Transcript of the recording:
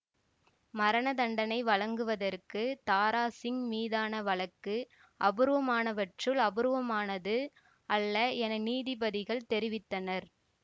மரணதண்டனை வழங்குவதற்கு தாராசிங் மீதான வழக்கு அபூர்வமானவற்றுள் அபூர்வமானது அல்ல என நீதிபதிகள் தெரிவித்தனர்